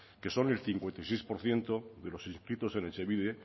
que son el cincuenta y seis por ciento de los inscritos en etxebide